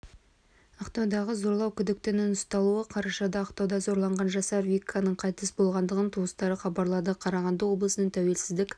ақтаудағы зорлау күдіктінің ұсталуы қарашада ақтауда зорланған жасар виканың қайтыс болғандығын туыстары хабарлады қарағанды облысының тәуелсіздік